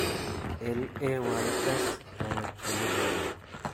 LAYS konget ole kimii.